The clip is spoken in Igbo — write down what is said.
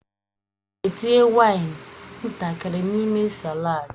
M ga-etinye waini ntakịrị n'ime saladi.